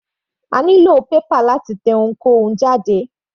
A nílò paper láti tẹ ohunkóhun jáde.